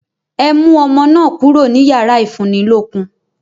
Ẹ mú ọmọ náà kúrò ní yàrá ìfúnnilókun!